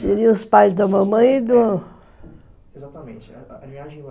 Seriam os pais da mamãe e do... Exatamente. A linhagem